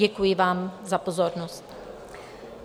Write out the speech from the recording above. Děkuji vám za pozornost.